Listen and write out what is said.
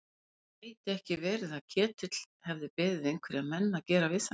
Gæti ekki verið að Ketill hefði beðið einhverja menn að gera við þær?